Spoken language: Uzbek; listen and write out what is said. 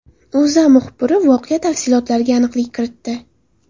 O‘zA muxbiri voqea tafsilotlariga aniqlik kiritdi .